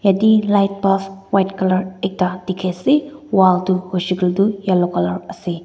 jatte light bulb white colour ekta dekhi ase wall tu hoise koile tu yellow colour ase.